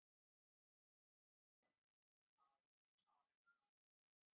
Kristján Már Unnarsson: Hvers vegna fékkstu engan úr þessum flokkum?